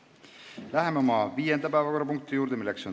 Läheme viienda päevakorrapunkti juurde.